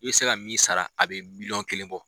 I bɛ se ka min sara a bɛ miliyɔn kelen bɔ.